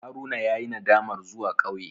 Haruna yayi nadamar zuwa ƙauye.